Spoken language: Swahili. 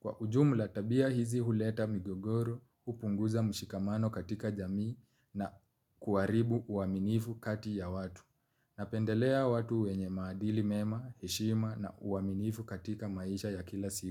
Kwa ujumlatabia hizi huleta migogoro, upunguza mshikamano katika jamii na kuaribu uaminifu kati ya watu. Napendelea watu wenye maadili mema, heshima na uaminifu katika maisha ya kila siku.